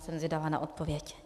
Jsem zvědava na odpověď.